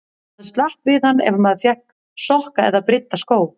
Maður slapp við hann ef maður fékk sokka eða brydda skó.